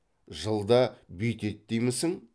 жылда бүйтед деймісің